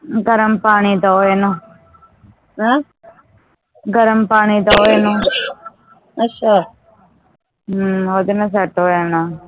ਗਰਮ ਪਾਣੀ ਦੋ ਇਹਨੂੰ ਗਰਮ ਪਾਣੀ ਦੋ ਇਹਨੂੰ ਅੱਛਾ ਹਮ ਓਹਦੇ ਨਾਲ set ਹੋ ਜਾਣਾ ਆ